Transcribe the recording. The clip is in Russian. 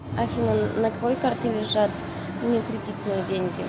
афина на какой карте лежат не кредитные деньги